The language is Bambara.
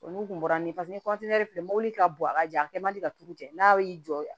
Olu kun bɔra ni de ye mɔbili bɔn a ka jan a kɛ man di ka turu cɛ n'a y'i jɔ